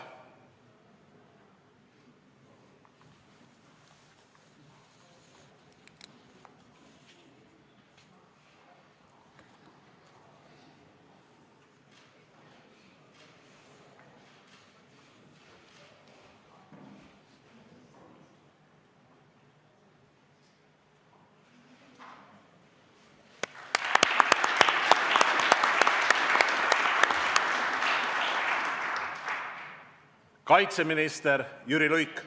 Kaitseminister Jüri Luik.